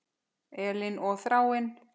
Elín og Þráinn.